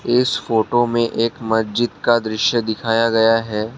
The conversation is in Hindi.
इस फोटो में एक मस्जिद का दृश्य दिखाया गया है।